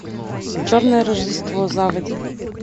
черное рождество заводи